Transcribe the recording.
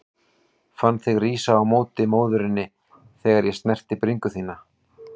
Fann þig rísa á móti móðurinni þegar ég snerti bringu þína.